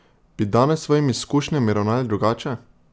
Bi danes s svojimi izkušnjami ravnali drugače?